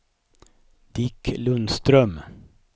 Dick Lundström